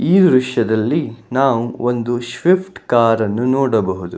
ಈ ದೃಶ್ಯದಲ್ಲಿ ನಾವು ಒಂದು ಶ್ವಿಫ್ಟ್ ಕಾರನ್ನು ನೋಡಬಹುದು.